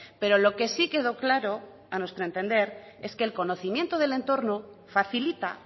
pero lo que sí quedó claro a nuestro entender es que el conocimiento del entorno facilita